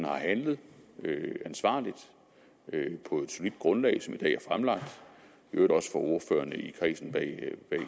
har handlet ansvarligt på et solidt grundlag som i øvrigt også for ordførerne i